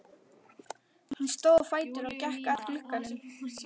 Hann stóð á fætur og gekk að glugganum.